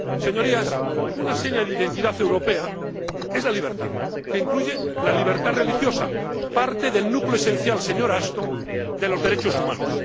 Señorías, una seña de identidad europea es la libertad, que incluye la libertad religiosa, parte del núcleo esencial, señora Ashton, de los derechos humanos.